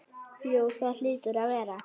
Jú það hlýtur að vera.